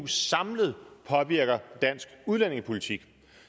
samlet påvirker dansk udlændingepolitik